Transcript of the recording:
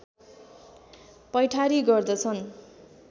पैठारी गर्दछन्